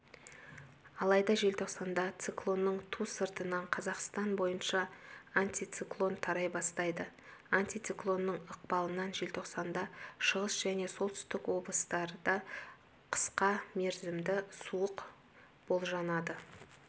алайда желтоқсанда циклонның ту сыртынан қазақстан бойынша антициклон тарай бастайды антициклонның ықпалынан желтоқсанда шығыс және солтүстік облыстарда қысқа мерзімді суық болжанады